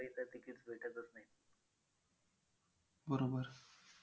बरोबर